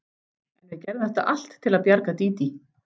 En við gerðum þetta allt til að bjarga Dídí.